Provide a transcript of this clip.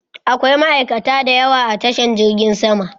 Akwai ma'aikata da yawa a tashan jirgin sama